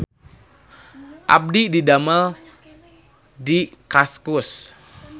Abdi didamel di Kaskus